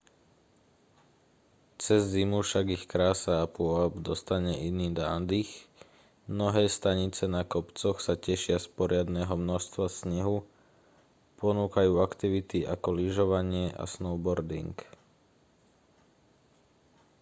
cez zimu však ich krása a pôvab dostane iný nádych mnohé stanice na kopcoch sa tešia z poriadneho množstva snehu a ponúkajú aktivity ako lyžovanie a snowboarding